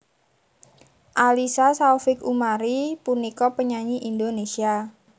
Alyssa Saufik Umari punika penyanyi Indonesia